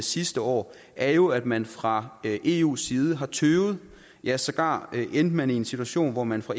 sidste år er jo at man fra eus side har tøvet ja sågar endte man i en situation hvor man fra